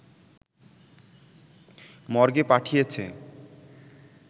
মর্গে পাঠিয়েছে